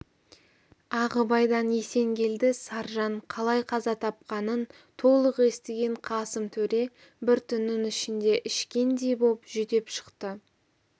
ағыбайдан есенгелді саржан қалай қаза тапқанын толық естіген қасым төре бір түннің ішінде ішкендей боп жүдеп шықты